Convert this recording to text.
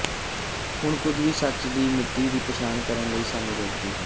ਹੁਣ ਕੁਝ ਵੀ ਸੱਚ ਹੈ ਦੀ ਮਿਤੀ ਦੀ ਪਛਾਣ ਕਰਨ ਲਈ ਸਾਨੂੰ ਰੋਕਦੀ ਹੈ